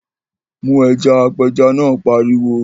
Mu ẹja! Apẹja náà pariwo.